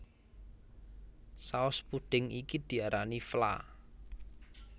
Saos pudhing iki diarani vla